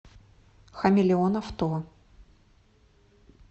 хамелеон авто